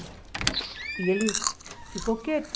E ele ficou quieto.